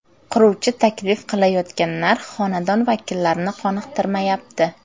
Quruvchi taklif qilayotgan narx xonadon vakillarini qoniqtirmayapti.